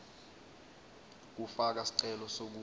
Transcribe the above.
kufaka sicelo sekuba